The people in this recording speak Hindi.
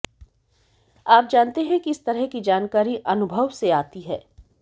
आप जानते हैं कि इस तरह की जानकारी अनुभव से आती है